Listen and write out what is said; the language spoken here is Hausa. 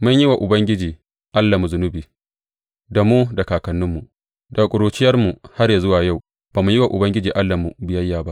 Mun yi wa Ubangiji Allahnmu zunubi, da mu da kakanninmu; daga ƙuruciyarmu har yă zuwa yau ba mu yi wa Ubangiji Allahnmu biyayya ba.